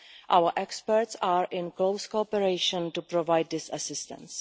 Our experts are in close cooperation to provide this assistance.